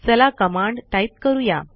चला command type करू या